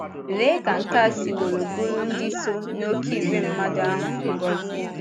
Léé ka nke a siworo bụụrụ ndị so ‘n’oké ìgwè mmadụ’ ahụ ngọzi!